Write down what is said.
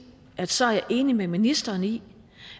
at så er jeg enig med ministeren i